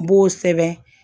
N b'o sɛbɛn